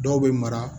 Dɔw bɛ mara